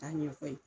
K'a ɲɛfɔ yen